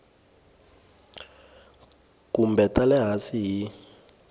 kumbe ta le hansi hi